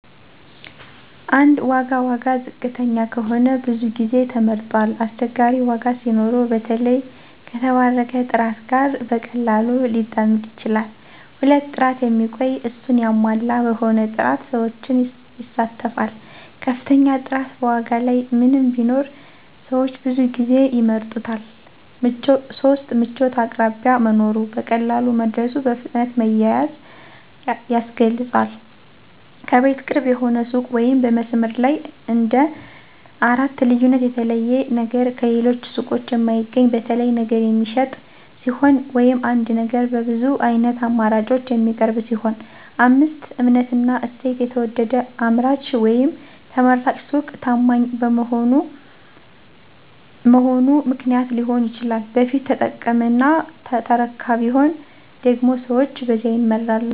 1. ዋጋ ዋጋ ዝቅተኛ ከሆነ ብዙ ጊዜ ተመርጧል አስቸጋሪ ዋጋ ሲኖረው በተለይ ከተባረከ ጥራት ጋር በቀላሉ ሊጠምድ ይችላል 2. ጥራት የሚቆይ፣ እሱን ያሟላ በሆነ ጥራት ሰዎችን ይሳተፋል ከፍተኛ ጥራት በዋጋ ላይ ምንም ቢኖር ሰዎች ብዙ ጊዜ ይምረጡታል 3. ምቾት አቅራቢያ መኖሩ፣ በቀላሉ መድረሱ፣ በፍጥነት መያዝ ያስገልጿል ከቤት ቅርብ የሆነ ሱቅ ወይም በመስመር ላይ እንደ 4. ልዩነት የተለየ ነገር ከሌሎች ሱቆች የማይገኝ፣ በተለይ ነገር የሚሸጥ ሲሆን ወይም አንድ ነገር በብዙ ዓይነት አማራጮች የሚቀርብ ሲሆን 5. እምነትና እሴት የተወደደ አምራች ወይም ተመራጭ ሱቅ ታማኝ መሆኑ ምክንያት ሊሆን ይችላል በፊት ተጠቀመና ተረካ ቢሆን ደግሞ ሰዎች በዚያ ይመራሉ